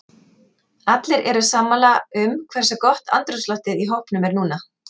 Allir eru sammála um hversu gott andrúmsloftið í hópnum er núna.